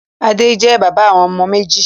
Adé jẹ́ bàbá àwọn ọmọ méjì.